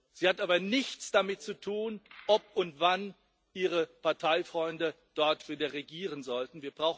Sie hat aber nichts damit zu tun, ob und wann Ihre Parteifreunde wieder regieren sollten.